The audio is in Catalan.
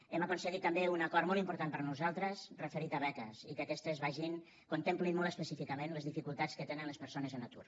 hem aconseguit també un acord molt important per a nosaltres referit a beques i que aquestes vagin contemplin molt específicament les dificultats que tenen les persones en atur